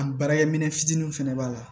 An baarakɛminɛn fitininw fɛnɛ b'a la